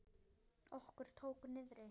Okkur tók niðri!